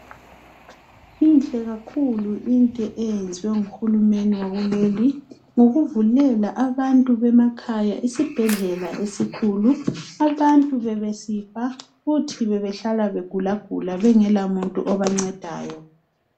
Inhle kakhulu into eyenziwa ngu Hulumeni wakuleli ngokuvulela abantu bemakhaya isibhedlela esikhulu abantu bebesifa futhi bebehlala begulagula kulomuntu obancedayo.